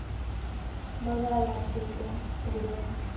बघायला लागतील ते उघडून